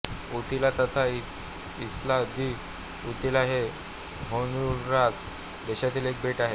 Utila तथा Isla de Utila हे Honduras देशातील एक बेट आहे